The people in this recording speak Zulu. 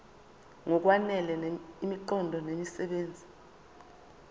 ngokwanele imiqondo nemisebenzi